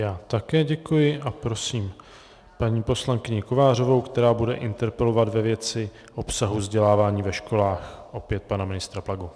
Já také děkuji a prosím paní poslankyni Kovářovou, která bude interpelovat ve věci obsahu vzdělávání ve školách opět pana ministra Plagu.